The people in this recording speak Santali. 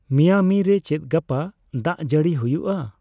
ᱢᱤᱭᱟᱢᱤ ᱨᱮ ᱪᱮᱫ ᱜᱟᱯᱟ ᱫᱟᱜᱡᱟᱹᱲᱤ ᱦᱭᱩᱜᱼᱟ